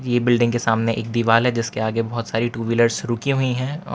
ये बिल्डिंग के सामने एक दीवाल है जिसके आगे बहोत सारी टू व्हीलर्स रुकी हुईं हैं और--